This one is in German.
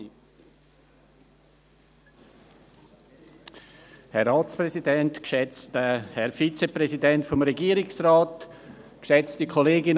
Zu Ziel 5: Der Regierungsrat wird aufgefordert, das Schaffen guter Rahmenbedingungen für Zukunftstechnologien und nachhaltige Entwicklung noch auf eine dritte Zielsetzung auszurichten: